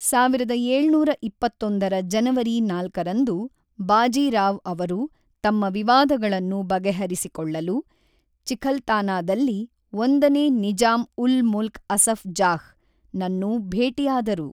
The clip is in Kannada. ಸಾವಿರದ ಏಳುನೂರ ಇಪ್ಪತ್ತೊಂದರ ಜನವರಿ ನಾಲ್ಕರಂದು ಬಾಜೀ ರಾವ್ ಅವರು ತಮ್ಮ ವಿವಾದಗಳನ್ನು ಬಗೆಹರಿಸಿಕೊಳ್ಳಲು ಚಿಕ್ಹಲ್ಥಾನಾದಲ್ಲಿ ಒಂದನೇ ನಿಜಾಂ-ಉಲ್-ಮುಲ್ಕ್ ಅಸಫ್ ಜಾಹ್ ನನ್ನು ಭೇಟಿಯಾದರು.